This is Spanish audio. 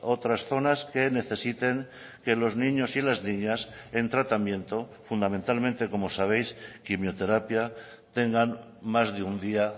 otras zonas que necesiten que los niños y las niñas en tratamiento fundamentalmente como sabéis quimioterapia tengan más de un día